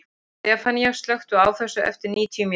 Stefanía, slökktu á þessu eftir níutíu mínútur.